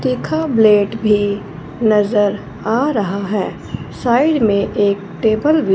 तीखा ब्लेड भी नजर आ रहा है साइड में एक टेबल भी--